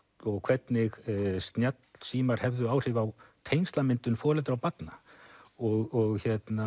og hvernig snjallsíma hefðu áhrif á tengslamyndun foreldra og barna og